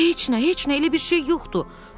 Heç nə, heç nə, elə bir şey yoxdur.